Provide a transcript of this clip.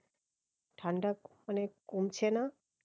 ঠান্ডা মানে কমছে না